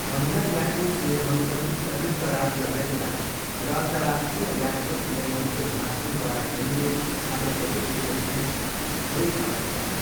महिला ल्याक्रोस नियमहरू पनि संयुक्त राज्य अमेरिका र अन्तर्राष्ट्रिय ल्याक्रोस नियमहरूको महासङ्घद्वारा खेलिने अन्य सबै देशहरू बिचमा धेरै फरक छन्।